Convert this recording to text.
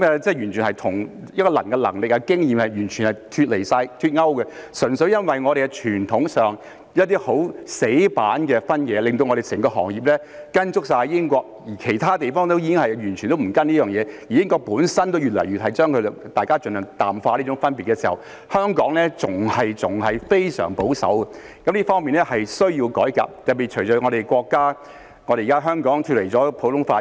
這完全與一個人的能力和經驗脫勾，純粹由於我們在傳統上有一些死板的分野，令我們整個行業完全跟隨英國，而其他地方已經不跟隨這做法，英國本身亦已越來越淡化這種分別時，香港仍然非常保守，這方面是需要改革的，特別是隨着香港現在脫離了普通法......